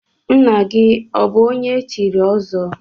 Nna gị ọbụ onye echiri ọzọ?